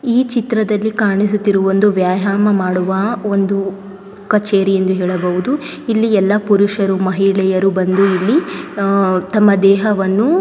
ಈ ಚಿತ್ರದಲ್ಲಿ ಕಾಣಿಸುತ್ತಿರುವ ಒಂದು ವ್ಯಾಯಾಮ ಮಾಡುವ ಒಂದು ಕಚೇರಿ ಎಂದು ಹೇಳಬಹುದು ಇಲ್ಲಿ ಯಲ್ಲ ಪುರುಷರು ಮಹಿಳೆಯರು ಬಂದು ಇಲ್ಲಿ ಅಹ್ ತಮ್ಮ ದೇಹವನ್ನು--